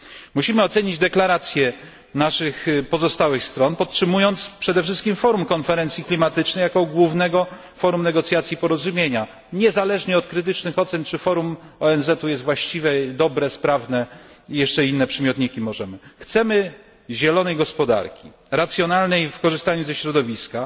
Musimy ocenić deklarację naszych pozostałych stron podtrzymując przede wszystkim forum konferencji klimatycznej jako główne forum negocjacji porozumienia, niezależnie od krytycznych ocen czy forum ONZ jest właściwe, dobre, sprawne itd. Chcemy zielonej gospodarki, racjonalnej w korzystaniu ze środowiska,